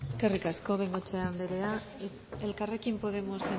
eskerrik asko de bengoechea andrea elkarrekin podemosen